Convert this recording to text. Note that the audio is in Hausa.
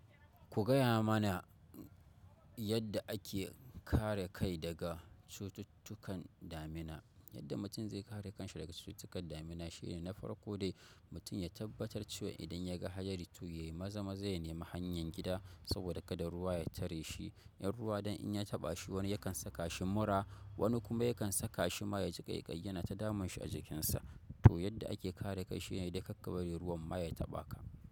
Ku gaya mana yadda ake kare kai daga cututtukan damina. Yadda mutum zai kare kanshi daga cututtukan damina shine na farko dai mutum ya tabbatar cewa idan ya ga hadari to yayi maza-maza ya nemi hanyan gida saboda kada ruwa ya tare shi. In ruwa dan in ya taɓa shi wani yakan saka shi mura wani kuma yakan saka shi ma ya ji ƙaiƙayi yana ta damun shi a jikinsa. To yadda ake kare kai shine dai kar ka bari ruwan ma ya taɓa ka.